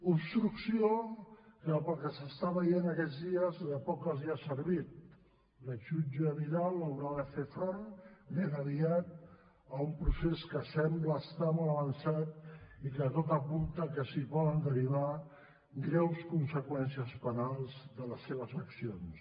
obstrucció que pel que s’està veient aquests dies de poc els ha servit l’exjutge vidal haurà de fer front ben aviat a un procés que sembla estar molt avançat i que tot apunta que es poden derivar greus conseqüències penals de les seves accions